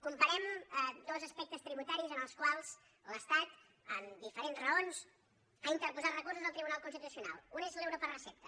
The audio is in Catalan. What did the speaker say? comparem dos aspectes tributaris en els quals l’estat amb diferents raons ha interposat recursos al tribunal constitucional un és l’euro per recepta